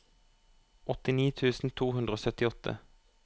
åttini tusen to hundre og syttiåtte